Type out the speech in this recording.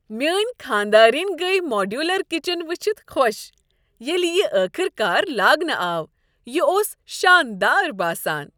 میٲنۍ خانہ دارِنۍ گٔیہ ماڈیولر کچن وچھتھ خوش ییٚلہ یہ ٲخٕر کار لاگنہٕ آو۔ یہ اوس شاندار باسان۔